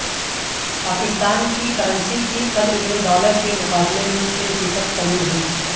پاکستان کی کرنسی کی قدر میں ڈالر کے مقابلے میں چھ فیصد کمی ہوئی